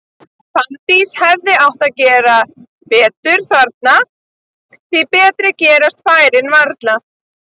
Fanndís hefði átt að gera betur þarna, því betri gerast færin varla.